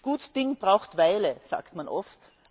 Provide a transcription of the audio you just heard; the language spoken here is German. Gut Ding braucht Weile, sagt man oft.